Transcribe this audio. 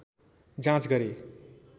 जाँच गरे